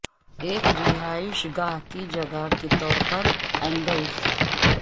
ایک رہائش گاہ کی جگہ کے طور پر اینگلز